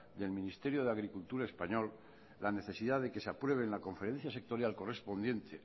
del ministerio de agricultura español la necesidad de que se apruebe en la conferencia sectorial correspondiente